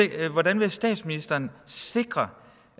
hvordan vil statsministeren sikre